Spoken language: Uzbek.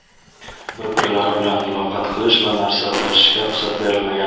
bir-birlari bilan muloqot qilish va narsa ulashishga ruxsat berilmagan.